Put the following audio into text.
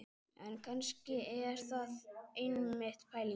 En kannski er það einmitt pælingin.